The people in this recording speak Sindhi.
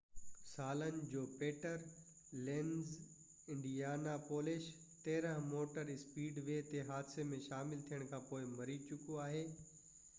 13 سالن جو Peter Lenz Indianapolis motor speedway تي حادثي ۾ شامل ٿيڻ کانپوءِ مري چڪو آهي